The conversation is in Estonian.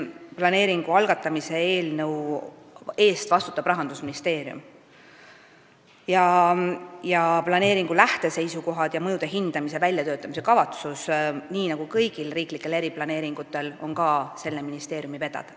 Planeeringu algatamise eelnõu eest vastutab Rahandusministeerium ning planeeringu lähteseisukohad ja mõjude hindamise väljatöötamise kavatsus on nii nagu kõigi riiklike eriplaneeringute puhul ka selle ministeeriumi vedada.